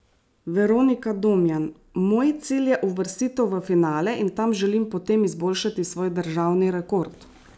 Veronika Domjan: "Moj cilj je uvrstitev v finale in tam želim potem izboljšati svoj državni rekord.